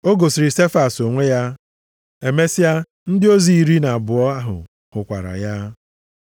O gosiri Sefas + 15:5 Ya bụ, Pita onwe ya, emesịa, ndị ozi iri na abụọ ahụ hụkwara ya.